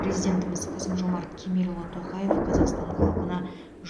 президентіміз қасым жомарт кемелұлы тоқаев қазақстан халқына